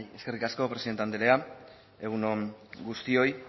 eskerrik asko presidente andrea egun on guztioi